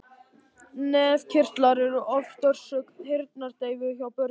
Nefkirtlar eru oft orsök heyrnardeyfu hjá börnum.